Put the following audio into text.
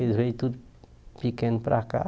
Eles vieram tudo pequeno para cá.